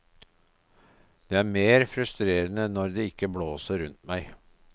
Det er mer frustrerende når det ikke blåser rundt meg.